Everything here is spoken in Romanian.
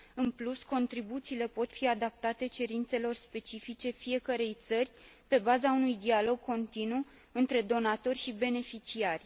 În plus, contribuțiile pot fi adaptate cerințelor specifice fiecărei țări pe baza unui dialog continuu între donatori și beneficiari.